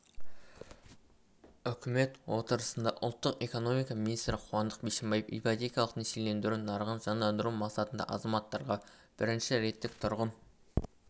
үкімет отырысында ұлттық экономика министрі қуандық бишімбаев ипотекалық несиелендіру нарығын жандандыру мақсатында азаматтарға бірінші реттік тұрғын